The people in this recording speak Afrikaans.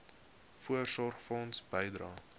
voorsorgfonds bydrae